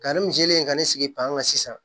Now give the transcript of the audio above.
Karimu selen ka ne sigi pan kan sisan